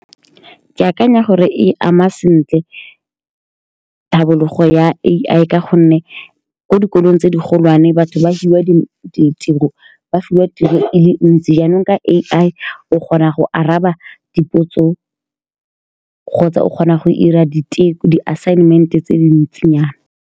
Ke akanya gore e ama sentle tlhabologo ya A_I, ka gonne ko dikolong tse di golwane batho ba fiwa ditirong, ba fiwa tiro e le ntsi, jaanong ka A_I, o kgona go araba dipotso kgotsa o kgona go dira diteko, di assignment-e tse dintsinyana.